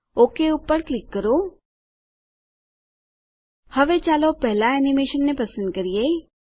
okay પર click કરો હવે ચાલો પહેલાં એનીમેશનને પસંદ કરીએ